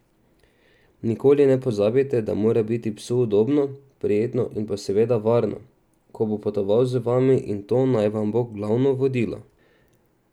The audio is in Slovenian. Nikoli ne pozabite, da mora biti psu udobno, prijetno in pa seveda varno, ko bo potoval z vami, in to naj vam bo glavno vodilo.